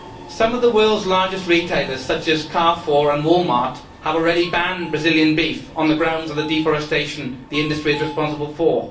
Some of the world's largest retailers, such as Carrefour and Wal Mart, have already banned Brazilian beef on the grounds of the deforestation the industry is responsible for.